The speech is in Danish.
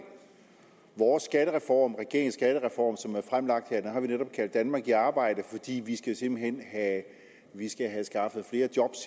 vores skattereform regeringens skattereform som er blevet fremlagt har vi netop kaldt danmark i arbejde fordi vi simpelt hen skal have skaffet flere job